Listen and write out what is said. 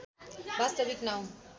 वास्तविक नाउँ